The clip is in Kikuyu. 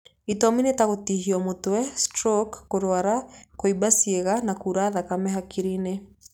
Itũmi nĩ ta gũtihio mũtwe, stroko, kũrwara, kuumba ciĩga na kura thakame hakiri-inĩ.